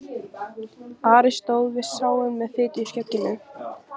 Ari stóð við sáinn með fitu í skegginu.